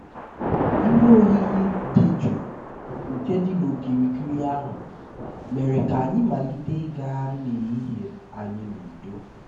ihe oyiyi dị jụụ nke dị n'okirikiri ahụ mere ka anyị malite ịgagharị n'ehihie anyị n'udo